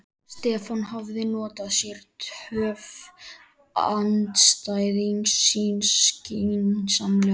Stefán hafði notað sér töf andstæðings síns skynsamlega.